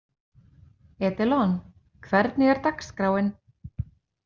Edilon, hvernig er dagskráin?